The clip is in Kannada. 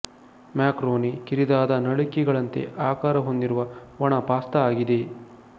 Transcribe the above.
ಮ್ಯಾಕರೋನಿ ಕಿರಿದಾದ ನಳಿಕೆಗಳಂತೆ ಆಕಾರ ಹೊಂದಿರುವ ಒಣ ಪಾಸ್ತಾ ಆಗಿದೆ